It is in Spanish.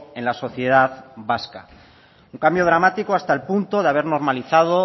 en la sociedad vasca un cambio dramático hasta el punto de haber normalizado